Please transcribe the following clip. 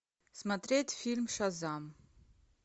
смотреть фильм шазам